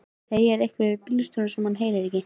Segir eitthvað við bílstjórann sem hann heyrir ekki.